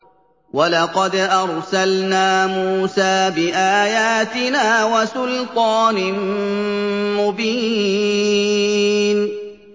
وَلَقَدْ أَرْسَلْنَا مُوسَىٰ بِآيَاتِنَا وَسُلْطَانٍ مُّبِينٍ